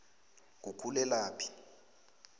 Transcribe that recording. ngukhulelaphi